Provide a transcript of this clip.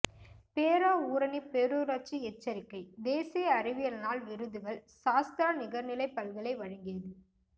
பேராவூரணி பேரூராட்சி எச்சரிக்கை தேசிய அறிவியல் நாள் விருதுகள் சாஸ்த்ரா நிகர்நிலை பல்கலை வழங்கியது